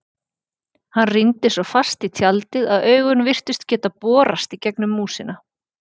Hann rýndi svo fast í tjaldið að augun virtust geta borast í gegnum músina.